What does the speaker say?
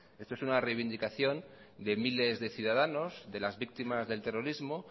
esto es una reivindicación de miles de ciudadanos de las víctimas del terrorismo